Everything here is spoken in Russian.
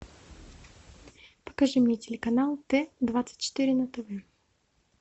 покажи мне телеканал т двадцать четыре на тв